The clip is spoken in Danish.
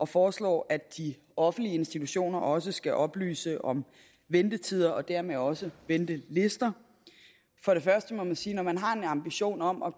foreslår at de offentlige institutioner også skal oplyse om ventetider og dermed også ventelister for det første må man sige at når man har en ambition om at